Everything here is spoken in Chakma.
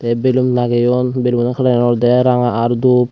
te bellon lagiyon bellono calarani olode ranga aar dup.